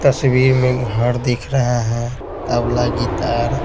तस्वीर में घर दिख रहा है तबला गितार --